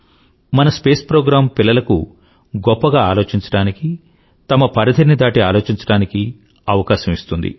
మన space program పిల్లలకు గొప్పగా ఆలోచించడానికీ తమ పరిధిని దాటి ఆలోచించడానికీ అవకాశం ఇస్తుంది